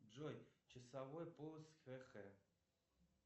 джой часовой пояс хх